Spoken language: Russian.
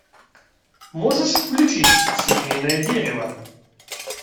можешь включить семейное дерево